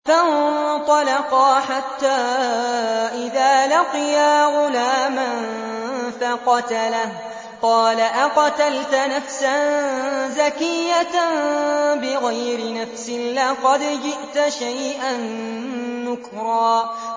فَانطَلَقَا حَتَّىٰ إِذَا لَقِيَا غُلَامًا فَقَتَلَهُ قَالَ أَقَتَلْتَ نَفْسًا زَكِيَّةً بِغَيْرِ نَفْسٍ لَّقَدْ جِئْتَ شَيْئًا نُّكْرًا